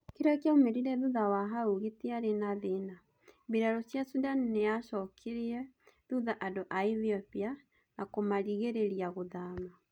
Kiria kiaumerire thutha wa hau gitiare na thina: mbiraru cia Sudan niyacokirie thutha andu a Ethiopia na kumaringiriria guthama.